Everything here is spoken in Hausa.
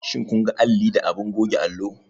Shin kun ga alli da abin goge allo?